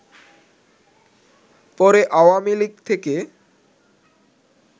পরে আওয়ামী লীগ থেকে